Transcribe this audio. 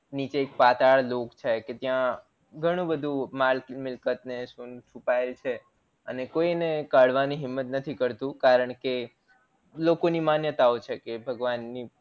નીચે પાતાળ લોક છે કે ત્યાં ઘણું બધું માલ મિલકત ને સોનું છુપાયેલું છે અને કોઈ કાઢવાની હિંમત નથી કરતુ કારણ કે લોકો ની માન્યતા ઓ છે કે ભગવાન ની